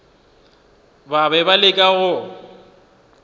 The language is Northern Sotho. ba be ba leka go